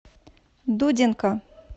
дудинка